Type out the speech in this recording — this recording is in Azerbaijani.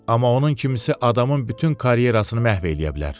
Amma onun kimisi adamın bütün karyerasını məhv eləyə bilər.